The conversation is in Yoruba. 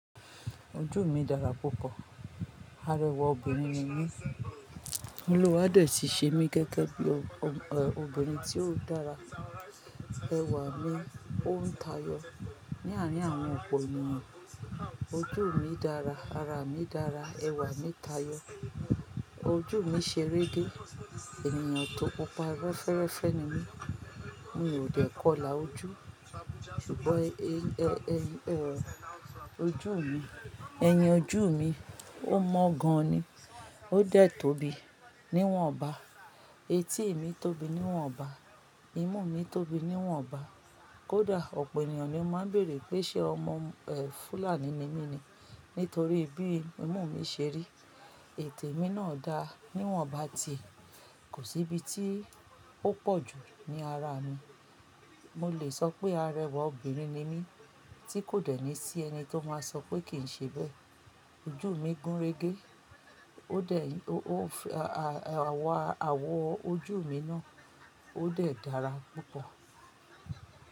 Ojú mi dára púpọ̀, arẹwà obìnrin ni mí. Mo ló wá dè tíí ṣe mí gẹ́gẹ́ bí obìnrin tí ó dára. Ẹwà mi ó ń tayọ ní àárín àwọn ọ̀pọ̀ ènìyàn. Ojú mi dára, ara mi dára, ẹwà mi tayọ. Ojú mi ṣe rége, ènìyàn tó pupa rẹ́fẹ́rẹ́fẹ́ ni mí. Mi ò dẹ̀ kọlà ojú, ṣùgbọ́n ẹyẹ ojú mi, ẹ̀yàn ojú mi ó mọ́ gan ni. Ó dẹ̀ tóbi níwọ̀n ọba, etí mi tóbi níwọ̀n ọba, imú mi tóbi níwọ̀n ọba. Kódà ọ̀pọ̀ ènìyàn ni ó máa ń bèèrè pé ṣé ọmọ Fúlàní ni mí ni nítorí bí imú mi ṣe rí. Ètè mi náà dáa níwọ̀n ọba tì, kò sí ibi tí ó pọ̀ jù ní ara mi. Mo lè sọ pé arẹwà obìnrin ni mí tí kò dẹ̀ ní sí ẹni tó máa sọ pé kì í ṣe bẹ́ẹ̀. Ojú mi gúnrégé, ó dẹ̀ awọ ojú mi náà ó dẹ̀ dára púpọ̀.